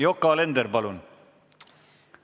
Yoko Alender, palun!